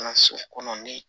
Kalanso kɔnɔ ni